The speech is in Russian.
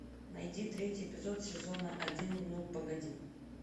найди третий эпизод сезона один ну погоди